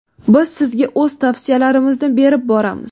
Biz sizga o‘z tavsiyalarimizni berib boramiz!.